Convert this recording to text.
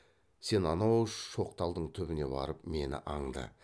сен анау шоқ талдың түбіне барып мені аңды